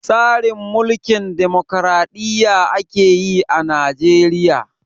Tsarin Mulkin damokraɗiyya ake yi a Najeriya.